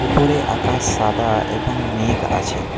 উপরে আকাশ সাদা এবং মেঘ আছে।